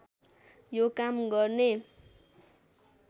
यो काम गर्ने